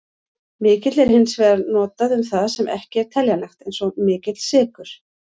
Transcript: Mikill er hins vegar notað um það sem ekki er teljanlegt, eins og mikill sykur.